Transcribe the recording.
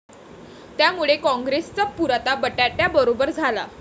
त्यामुळे कॉंग्रेसचा पुरता बट्ट्याबोळ झाला.